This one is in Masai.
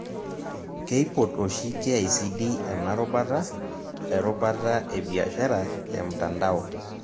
Keipot oshi KICD ena rubata , erubata e biashara emtandao.